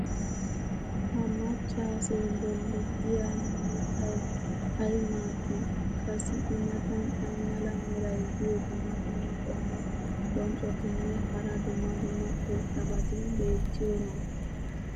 ha macaassee boli diya mitay ay maadii? qassi i matan ay mala meray diyo dumma dumma qommo bonccotinne hara dumma dumma irxxabati beetiyoonaa?